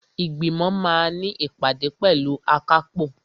Ìgbìmọ̀ máa ní ìpàdé pẹ̀lú akápò.